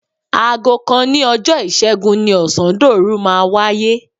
Aago kan òní ọjọ́ Ìṣẹ́gun ni ọ̀sándòru máa wáyé.